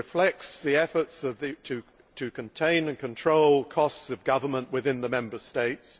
It reflects the efforts to contain and control costs of government within the Member States.